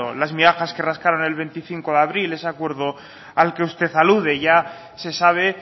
las miajas que rascaron el veinticinco de abril en ese acuerdo al que usted alude ya se sabe